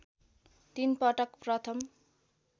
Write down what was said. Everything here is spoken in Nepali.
तीन पटक प्रथम